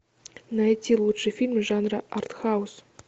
найти лучший фильм жанра арт хаус